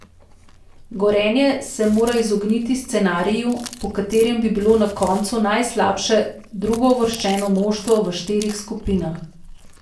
Gorenje se mora izogniti scenariju, po katerem bi bilo na koncu najslabše drugouvrščeno moštvo v štirih skupinah.